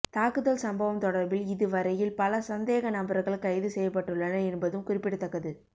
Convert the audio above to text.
தாக்குதல் சம்பவம் தொடர்பில் இதுவரையில் பல சந்தேக நபர்கள் கைது செய்யப்பட்டுள்ளனர் என்பதும் குறிப்பிடத்தக்கது